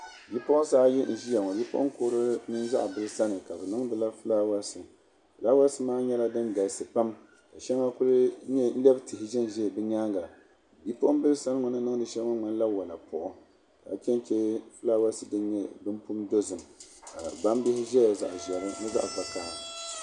Bipuɣinsi ayi nʒiya ŋɔ bipuɣin kurli mini zaɣ bili sani ka be niŋdi la filawasi filawasi maa nyɛ la dingalisi pam ka shɛŋa kuli lɛb tihi zanzaya be nyaanga bipuɣinbili so ŋun ni niŋdi shɛli ŋɔ ŋmanila walapuɣu ka chɛnchɛ filawasi din nyɛ zaɣ dozim ka gbambihi zaya zaɣ ʒɛhi mini zaɣ vakahli